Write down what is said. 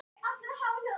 Og hinir sögðu